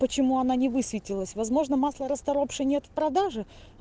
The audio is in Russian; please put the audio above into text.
почему она не высветилась возможно масло расторопши нет в продаже